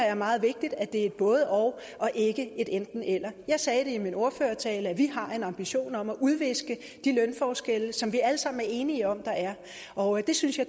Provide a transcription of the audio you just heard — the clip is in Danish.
er meget vigtigt at det er et både og og ikke et enten eller jeg sagde i min ordførertale at vi har en ambition om at udviske de lønforskelle som vi alle sammen er enige om der er og det synes jeg